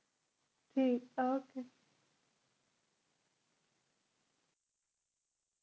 ਟੇਕ okay